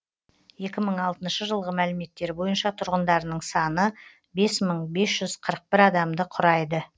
екі мың алтыншы жылғы мәліметтер бойынша тұрғындарының саны бес мың бес жүз қырық бір адамды құрайды